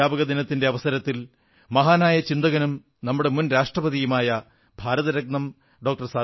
അധ്യാപകദിനത്തിന്റെ അവസരത്തിൽ മഹാനായ ചിന്തകനും നമ്മുടെ മുൻ രാഷ്ട്രപതിയുമായ ഭാരതരത്നം ഡോ